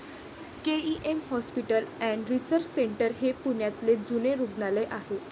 K E M hospital and research centre हे पुण्यातले जुने रुग्णालय आहे.